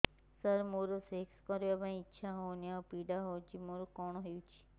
ସାର ମୋର ସେକ୍ସ କରିବା ପାଇଁ ଇଚ୍ଛା ହଉନି ଆଉ ପୀଡା ହଉଚି ମୋର କଣ ହେଇଛି